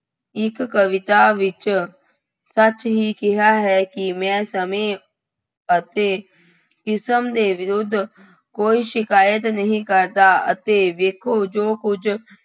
ਇੱਕ ਕਵਿਤਾ ਵਿੱਚ ਸੱਚ ਹੀ ਕਿਹਾ ਹੈ ਕਿ ਮੈਂ ਸਮੇਂ ਅਤੇ ਕਿਸਮ ਦੇ ਵਿਰੁੱਧ ਕੋਈ ਸ਼ਿਕਾਇਤ ਨਹੀਂ ਕਰਦਾ ਅਤੇ ਵੇਖੋ ਜੋ ਕੁੱਝ